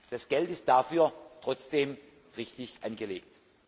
Das Geld ist dafür trotzdem richtig angelegt.